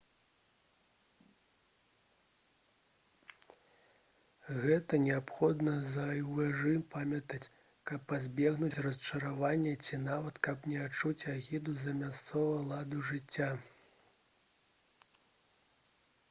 гэта неабходна заўжды памятаць каб пазбегнуць расчаравання ці нават каб не адчуць агіду да мясцовага ладу жыцця